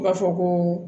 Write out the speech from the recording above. U b'a fɔ ko